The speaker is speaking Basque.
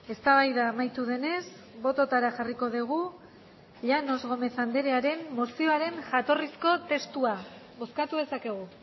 eztabaida amaitu denez bototara jarriko dugu llanos gómez anderearen mozioaren jatorrizko testua bozkatu dezakegu